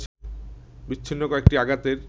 বিচ্ছিন্ন কয়েকটি আঘাতের